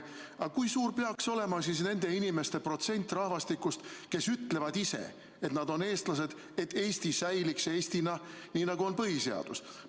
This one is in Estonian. Aga kui suur peaks olema nende inimeste protsent rahvastikust, kes ütlevad ise, et nad on eestlased, et Eesti säiliks Eestina, nii nagu on põhiseaduses kirjas?